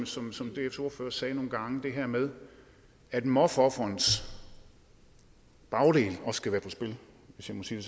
som som dfs ordfører sagde nogle gange det her med at mobbeofferets bagdel hvis jeg må sige